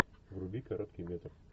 вруби короткий метр